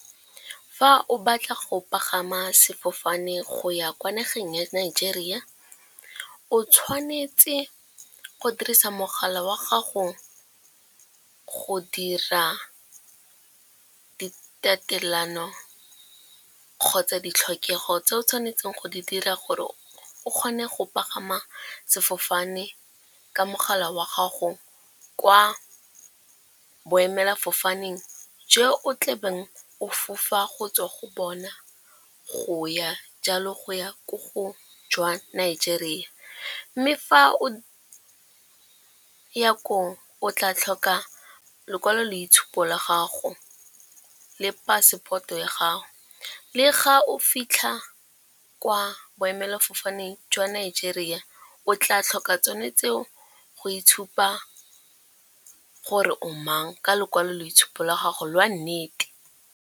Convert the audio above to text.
Fa o batla go pagama sefofane go ya kwa nageng ya Nigeria, o tshwanetse go dirisa mogala wa gago go dira tatelano kgotsa ditlhokego tse o tshwanetseng go di dira gore o kgone go pagama sefofane ka mogala wa gago kwa boemelafofaneng je o tlabeng o fofa go tswa go bona go ya jalo, go ya ko go jwa Nigeria. Mme fa o ya koo o tla tlhoka lekwaloitshupo la gago le passport-o ya gago. Le ga o fitlha kwa boemelafofane jwa Nigeria o tla tlhoka tsone tseo go itshupa gore o mang ka lokwaloboitshupo la gago lwa nnete.